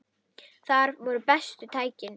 Þar voru bestu tækin.